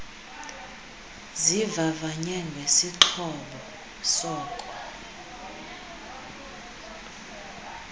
zivavanywe ngesixhobo soko